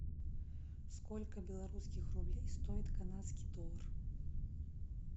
сколько белорусских рублей стоит канадский доллар